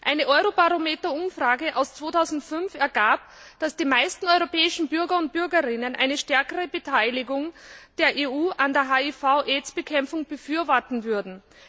Eine Eurobarometer Umfrage von 2005 ergab, dass die meisten europäischen Bürger und Bürgerinnen eine stärkere Beteiligung der EU an der HIV AIDS Bekämpfung befürworten würden.